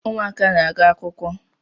Ụmụaka na-aga akwụkwọ